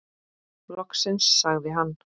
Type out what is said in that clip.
Loksins sagði hann.